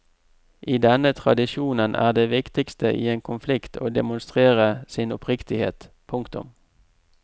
I denne tradisjonen er det viktigste i en konflikt å demonstrere sin oppriktighet. punktum